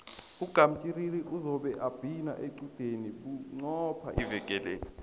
ugamtjhiriri uzobe abhina equdeni bunqopha iveke le